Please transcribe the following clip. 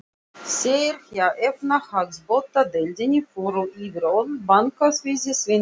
Þeir hjá efnahagsbrotadeildinni fóru yfir öll bankaviðskipti Sveinbjarnar.